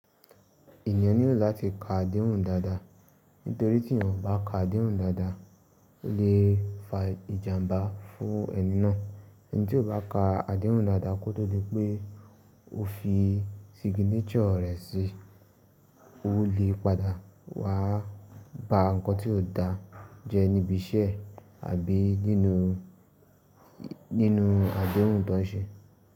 Ènìyàn nílò láti ka adéhùn dáadáa, nítorí tí èèyàn o kà bá ka adéhùn dáadáa, ó lè fa ìjàmbá fún ẹni náà. Ẹni tí o bá ka adéhùn dáadáa kótó dípé ó fi signature rẹ̀ sí, ó lè padà wá ba nǹkan tí ò dáa jẹ́ níbi iṣẹ́ àbí nínú, nínú adéhùn tó ń ṣe.